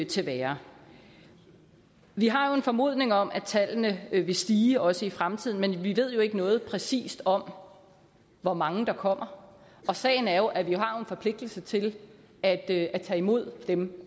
til værre vi har jo en formodning om at tallene vil stige også i fremtiden men vi ved jo ikke noget præcist om hvor mange der kommer sagen er jo at vi har en forpligtelse til at at tage imod dem